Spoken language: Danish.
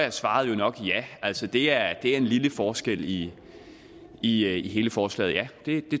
er svaret jo nok ja altså det er en lille forskel i i hele forslaget ja det